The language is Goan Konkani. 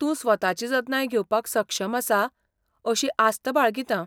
तूं स्वताची जतनाय घेवपाक सक्षम आसा अशी आस्त बाळगितां.